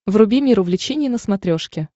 вруби мир увлечений на смотрешке